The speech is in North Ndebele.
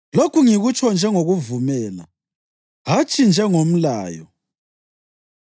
Lokhu ngikutsho njengokuvumela, hatshi njengomlayo.